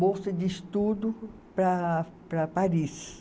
bolsa de estudo para para Paris.